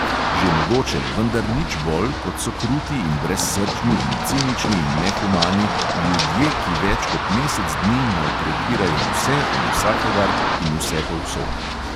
Že mogoče, vendar nič bolj, kot so kruti in brezsrčni in cinični in nehumani ljudje, ki več kot mesec dni maltretirajo vse in vsakogar in vsepovsod.